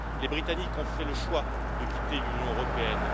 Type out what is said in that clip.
Les Britanniques ont fait le choix de quitter l'Union européenne